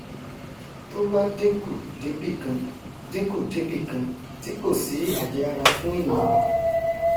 tó bá dínkù débìkan dínkù débìkan tí kòsí àjẹára fún ènìà mọ